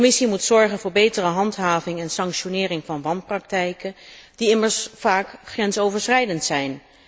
De Commissie moet zorgen voor betere handhaving en sanctionering van wanpraktijken, die immers vaak grensoverschrijdend zijn.